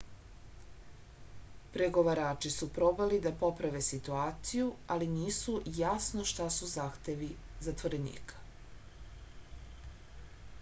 pregovarači su probali da poprave situaciju ali nisu jasno šta su zahtevi zatvorenika